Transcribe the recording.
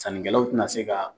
Sannikɛlaw te na se ka